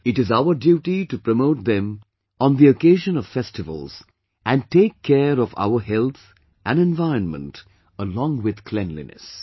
It is our duty to promote them on the occasion of festivals, and take care of our health and environment along with cleanliness